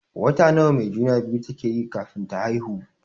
Wata nawa mai juna-biyu take yi kafin ta haihu?